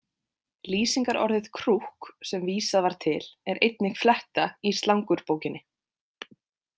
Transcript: Lýsingarorðið krúkk, sem vísað var til, er einnig fletta í slangurbókinni.